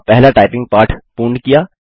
अपना पहला टाइपिंग पाठ पूर्ण किया